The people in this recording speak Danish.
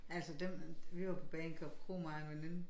Altså dem vi var på Bagenkop Kro mig og en veninde